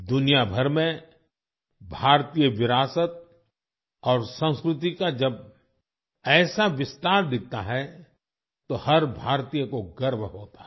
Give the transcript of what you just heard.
दुनियाभर में भारतीय विरासत और संस्कृति का जब ऐसा विस्तार दिखता है तो हर भारतीय को गर्व होता है